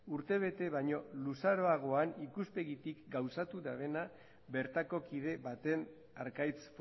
urtebete baino luzaroagoan ikustegitik gauzatu dabena bertako kide batek arkaitz